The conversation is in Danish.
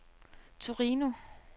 Torino